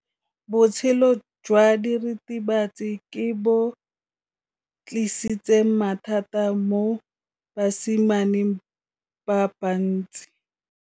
Botshelo jwa diritibatsi ke bo tlisitse mathata mo basimaneng ba bantsi.